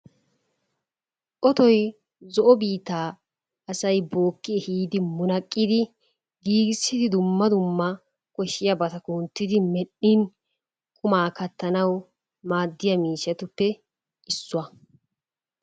Otoy zo"o biittaa asay bookki ehiidi munaqidi giggidi dumma dumma koshiyabata kunttidi medhdhin qummaa kattanawu maaddiya miishshatuppe issuwa.